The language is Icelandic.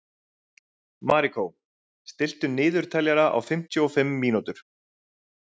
Marikó, stilltu niðurteljara á fimmtíu og fimm mínútur.